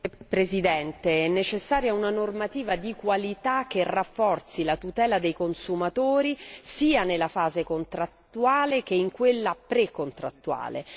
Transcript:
Signor Presidente, è necessaria una normativa di qualità che rafforzi la tutela dei consumatori sia nella fase contrattuale che in quella precontrattuale.